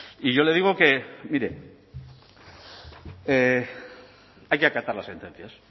y yo le digo que mire hay que acatar las sentencias